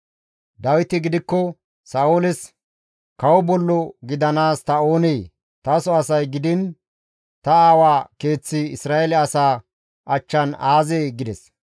Dawiti gidikko Sa7ooles, «Kawo bollo gidanaas ta oonee? Taso asay gidiin ta aawa keeththi Isra7eele asaa achchan aazee?» gides.